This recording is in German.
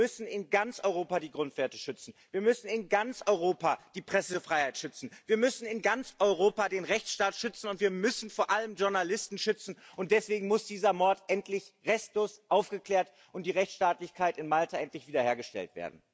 Wir müssen in ganz Europa die Grundwerte schützen, wir müssen in ganz Europa die Pressefreiheit schützen, wir müssen in ganz Europa den Rechtsstaat schützen und wir müssen vor allem Journalisten schützen, und deswegen muss dieser Mord endlich restlos aufgeklärt und die Rechtsstaatlichkeit in Malta endlich wiederhergestellt werden.